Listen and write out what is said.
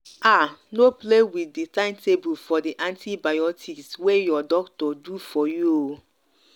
ah! no play wit di time table for di antibiotics wey your doctor do for you o!